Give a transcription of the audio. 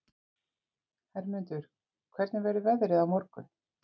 Hermundur, hvernig verður veðrið á morgun?